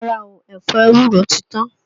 Rárá o, ẹ̀fọ ewúro ti tán